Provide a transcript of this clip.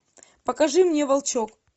покажи мне волчок